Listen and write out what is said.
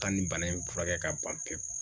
Ka nin bana in furakɛ ka ban pewu